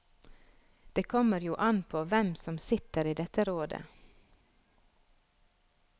Det kommer jo an påhvem som sitter i dette rådet.